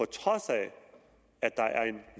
trods af at der er en